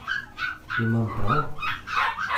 Imam prav?